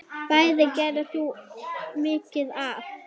Bæði gerðir þú mikið af.